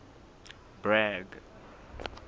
bragg